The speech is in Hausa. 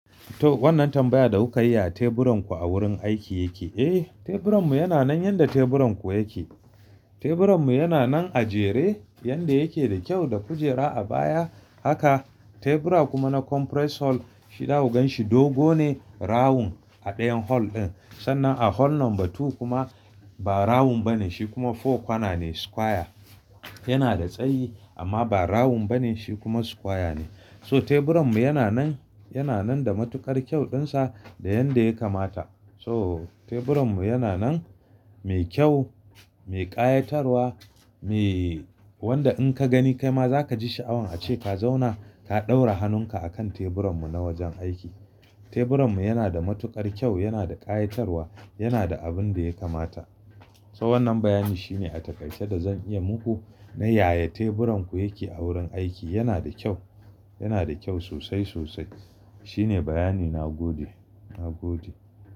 To wannan tambaya da kuka yi a teburan ku a wurin aiki yake. Eh, teburan mu yana nan yadda teburan ku yake. Teburan mu yana nan a jere yadda yake da kyau da kujera a baya haka. Tebura kuma na conference hall shi za ku gan shi dogo ne rawun a dayan hall din. Sannan a hall number two kuma ba rawun bane shi kuma four kwana ne square. Yana da tsayi amma ba rawun bane shi kuma square ne. So teburan mu yana nan, yana nan da matukar kyauɗin sa da yanda ya kamata. So teburan mu yana nan mai kyau, mai ƙayatarwa, me wanda in ka gani kai ma za kaji sha'awan ace ka zauna ka ɗaura hanun ka akan teburan mu na wajen aiki. Teburan mu yana da matukar kyau, yana da ƙayatarwa, yana da abin da ya kamata. So wannan bayani shine a takaice da zan iya muku na yaya teburan ku yake a wurin aiki. Yana da kyau, yana da kyau sosai sosai. Shine bayani na gode, na gode.